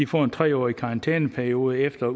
får en tre årskarantæneperiode efter